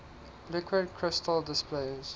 liquid crystal displays